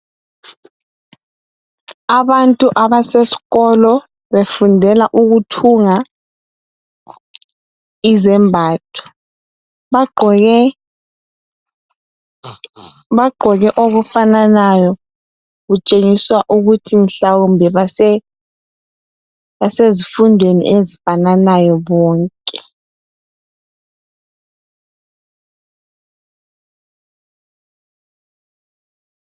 Abantu abaseskolo befundela ukuthunga izembatho. Bagqoke bagqoke okufananayo kutshengiswa ukuthi mhlawumbe base basezfundweni ezifananayo bonke.